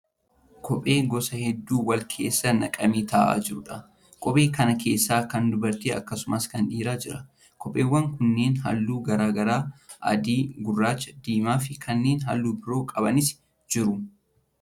Kophee gosa hedduu wal keessa naqamee ta'aa jiruudha. Kophee kana keessa kan dubartii akkasumas kan dhiiraa jira. Kopheewwan kunneen halluu garaa garaa adii, gurraacha, diimaa fi kanneen halluu biroo qabanis jiru.